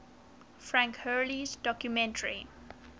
frank hurley's documentary